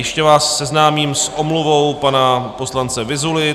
Ještě vás seznámím s omluvou pana poslance Vyzuly.